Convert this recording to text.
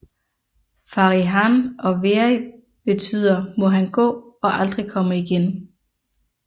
Fari hann og veri betyder må han gå og aldrig komme igen